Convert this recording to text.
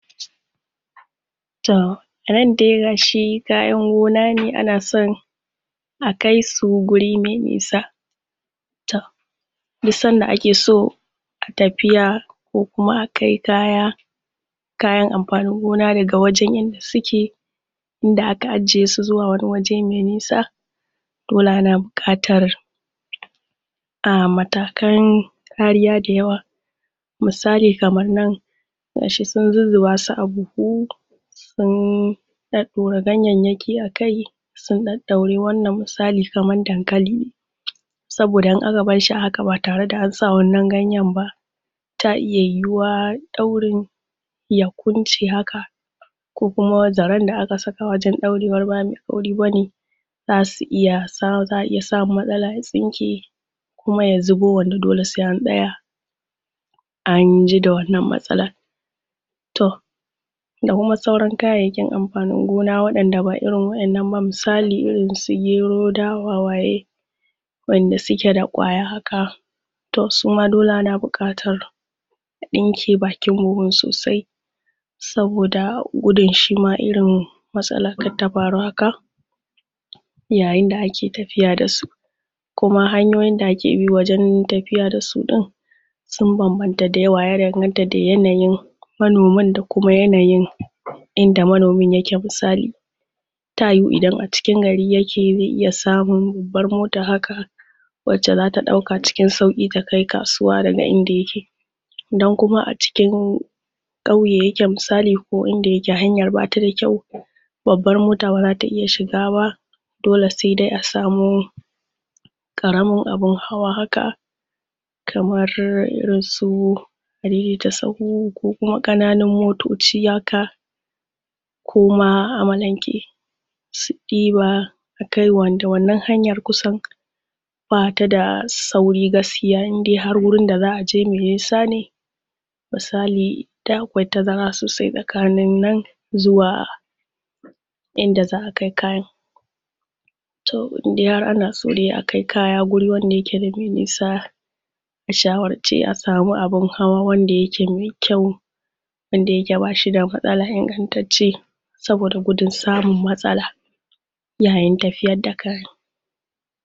Toh nan dai gashi kayan gona ne anason a kaisu guri mai nisa toh duk Sanda akeso tafiya koh Kuma akai kaya, kayan anfanin gona daga wajen inda suke inda aka ajiyesu zuwa wani waje mai nisa dole ana buƙatar um Matakan kariya dayawa misali kamar nan gashi sun zuzzuba su a buhu sun sun ɗaɗɗaura ganyayyaki akai sun ɗaɗɗaure wannan misali kamar dankali saboda in aka barshi a haka ba tareda ansa wannan ganyen ta iya yiwuwa daurin ya kunce haka ko Kuma zarenda akasa wajen daurewar ba mai kauri bane zasu iya za'a iya samun matsala zaren ya kunce kuma ya zubo wanda dole sai an tsaya anji da wannan matsalan toh da Kuma sauran kayayyakin anfanin gona wayanda ba irin wannan ba misali su gero dawa waye wayanda sukeda kwaya haka toh suma dole ana bukatar a ɗinke bakin buhunsu sosai saboda gudun shima irin matsalar kar ta faru haka yayinda ake tafiya dasu Kuma hanyoyinda ake bi wajen tafiya dasu din sun banbanta dayawa, ya danganta da yanayin manoman da kuma yanayin inda manoman yake misali ta yiwu Idan a cikin gari yake zai iya samun babbar mota haka wacca zata ɗauka cikin sauki takai kasuwa daga inda yake idan kuma acikin kauye yake misali kauye yake misali inda yake hanyar batada kyau babbar mota bazata iya shiga ba dole saidai asamo ƙaramin abun hawa haka Kamar irin su adaidaita sahu ko ƙananan motoci haka ko Kuma amalanke su diba akai wanda wannan hanyar kusan batada sauri gaskiya indai Har wurinda zaʼa je mai nisa misali inda akwai tazara Sosai tsakanin nan zuwa inda zaʼa kai kayan toh indai Har anaso akai kaya guri inda yake akwai nisa a shawarce a samu abun hawa wanda yake mai kyau wanda yake bashida matsala, ingantacce saboda gudun samun matsala yayin tafiyar kai kayan.